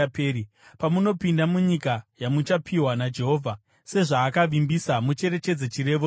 Pamunopinda munyika yamuchapiwa naJehovha sezvaakavimbisa, mucherechedze chirevo ichi.